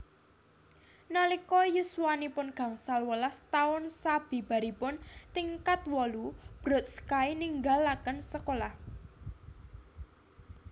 Nalika yuswanipun gangsal welas taun sabibaripun tingkat wolu Brodsky ninggalaken sekolah